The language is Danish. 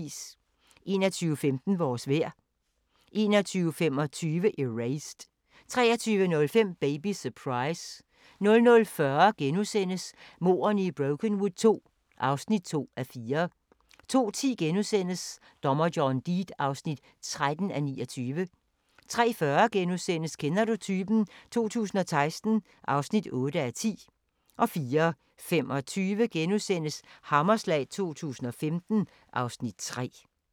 21:15: Vores vejr 21:25: Erased 23:05: Baby Surprise 00:40: Mordene i Brokenwood II (2:4)* 02:10: Dommer John Deed (13:29)* 03:40: Kender du typen? 2016 (8:10)* 04:25: Hammerslag 2015 (Afs. 3)*